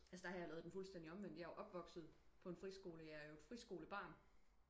Altså der har jeg laver den fuldstændigt omvendt jeg er opvokset på en friskole jeg er jo et friskole barn